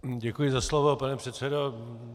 Děkuji za slovo, pane předsedo.